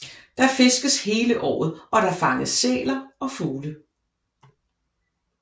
Der fiskes hele året og der fanges sæler og fugle